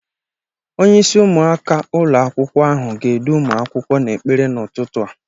Onyeisi ụmụaka ụlọ akwụkwọ ahụ ga-edu ụmụ akwụkwọ n'ekpere n'ụtụtụ a.